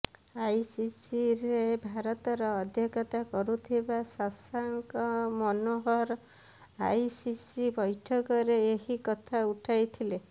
ଆଇସିସିରେ ଭାରତର ଅଧ୍ୟକ୍ଷତା କରୁଥିବା ଶଶାଙ୍କ ମନୋହର ଆଇସିସି ବୈଠକରେ ଏହି କଥା ଉଠାଇଥିଲେ